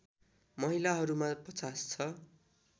महिलाहरूमा ५० छ